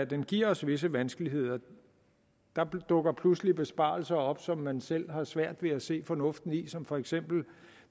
den giver os visse vanskeligheder der dukker pludselig besparelser op som man selv har svært ved at se fornuften i som for eksempel